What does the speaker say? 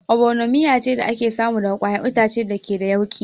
Obono miya ce da ake samu daga ƙwayar itace da ke da yauƙi